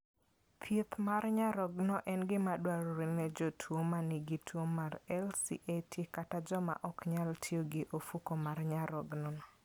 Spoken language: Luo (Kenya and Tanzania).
Thieth mar nyarogno en gima dwarore ne jotuo ma nigi tuo mar LCAT kata joma ok nyal tiyo gi ofuko mar nyarogno.